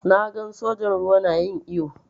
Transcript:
Na gan sojan ruwa na yin iyo.